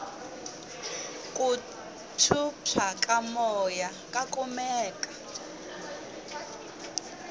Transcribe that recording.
ku phyuphya ka moya ka kumeka